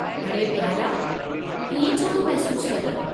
अड़े प्यारा, इएं छो थो महसूसु करीं?